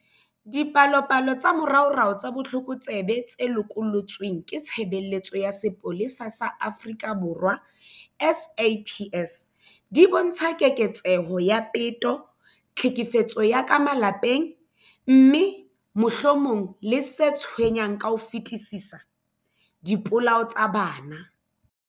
Dipalopalo tsa moraorao tsa botlokotsebe tse lokollotsweng ke Tshebeletso ya Sepolesa sa Afrika Borwa, SAPS, di bontsha keketseho ya peto, tlhekefetso ya ka malapeng, mme, mohlomong le se tshwenyang ka ho fetisisa, dipolao tsa bana.